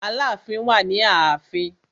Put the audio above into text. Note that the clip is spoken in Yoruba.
Aláàfin wà ni ààfin.